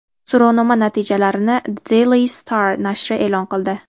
So‘rovnoma natijalarini The Daily Star nashri e’lon qildi .